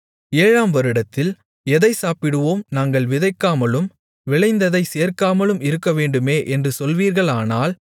ஏழாம் வருடத்தில் எதைச் சாப்பிடுவோம் நாங்கள் விதைக்காமலும் விளைந்ததைச் சேர்க்காமலும் இருக்கவேண்டுமே என்று சொல்வீர்களானால்